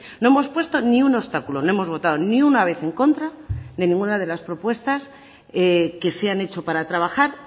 no hemos puesto ni un obstáculo no hemos votado ni una vez en contra de ninguna de las propuestas que se han hecho para trabajar